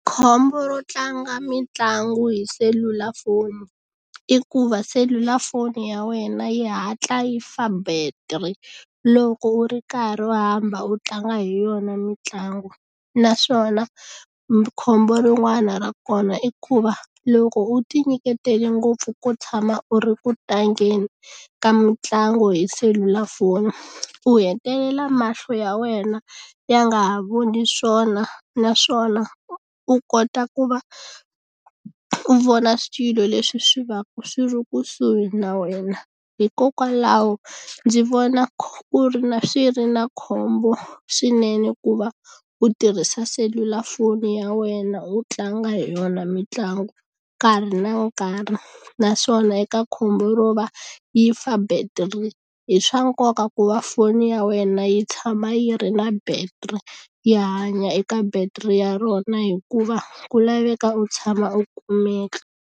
Khombo ro tlanga mitlangu hi selulafoni i ku va selulafoni ya wena yi hatla yi fa battery loko u ri karhi u hamba u tlanga hi yona mitlangu naswona khombo rin'wana ra kona i ku va loko u ti nyiketele ngopfu ku tshama u ri ku tlangeni ka mitlangu hi selulafoni u hetelela mahlo ya wena ya nga ha voni swona naswona u kota ku va u vona swilo leswi swi va swi ri kusuhi na wena hikokwalaho ndzi vona ku ri na swi ri na khombo swinene ku va u tirhisa selulafoni ya wena u tlanga hi yona mitlangu nkarhi na nkarhi naswona eka khombo ro va yi fa battery i swa nkoka ku va foni ya wena yi tshama yi ri na battery yi hanya eka battery ya rona hikuva ku laveka u tshama u kumeka.